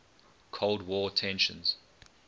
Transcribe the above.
cold war tensions